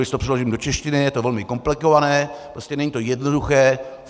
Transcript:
Když to přeložím do češtiny, je to velmi komplikované, prostě není to jednoduché.